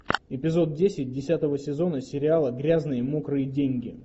эпизод десять десятого сезона сериала грязные мокрые деньги